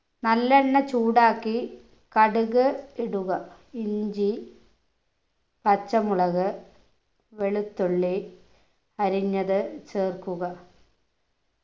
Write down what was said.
നല്ലെണ്ണ ചൂടാക്കി കടുക് ഇടുക ഇഞ്ചി പച്ചമുളക് വെളുത്തുള്ളി അരിഞ്ഞത് ചേർക്കുക